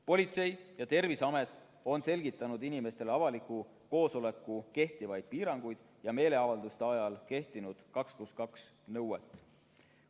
Politsei ja Terviseamet on selgitanud inimestele avaliku koosoleku kohta kehtivaid piiranguid ja meeleavalduste ajal kehtinud 2 + 2 nõuet.